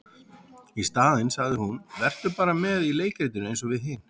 Í staðinn sagði hún:- Vertu bara með í leikritinu eins og við hin.